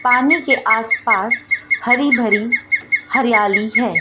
पानी के आस पास हरी भरी हरियाली है।